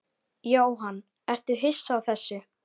Jóhann: Ertu hissa á þessu?